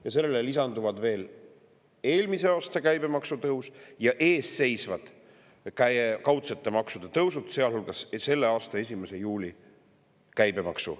Ja sellele lisanduvad veel eelmise aasta käibemaksu tõus ja ees seisvad kaudsete maksude tõusud, sealhulgas käibemaksu tõus selle aasta 1. juulil.